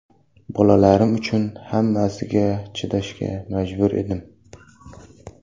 Bolalarim uchun hammasiga chidashga majbur edim.